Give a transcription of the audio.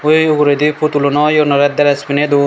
ey uguredi putul uno iyo gunore dress pininey dun.